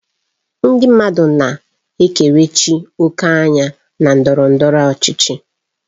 Ndị mmadụ na-ekerechi òkè anya na ndọrọ ndọrọ ọchịchị.